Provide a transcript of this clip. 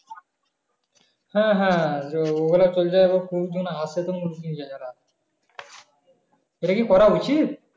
হ্যাঁ হ্যাঁ ওগুলা এটা কি করা উচিত